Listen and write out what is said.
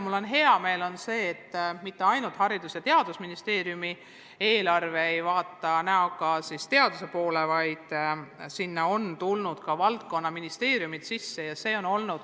Mul on hea meel, et mitte ainult Haridus- ja Teadusministeeriumi eelarve ei vaata näoga teaduse poole, vaid sinna on tulnud ka valdkonnaministeeriumid sisse.